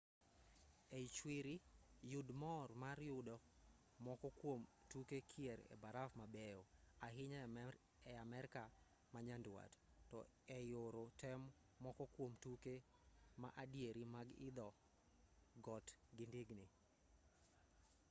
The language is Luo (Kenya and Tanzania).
ei chwiri yud mor mar yudo moko kuom tuke kier e baraf mabeyo ahinya e amerka ma nyanduat to ei oro tem moko kuom tuke ma adieri mag idho got gi ndigni